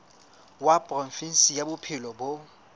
wa provinse ya bophelo bo